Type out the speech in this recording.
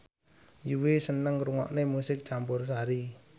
Yui seneng ngrungokne musik campursari